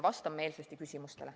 Vastan meelsasti küsimustele.